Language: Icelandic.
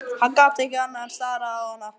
Hann gat ekki annað en starað á hana.